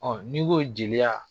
ni n ko jeliya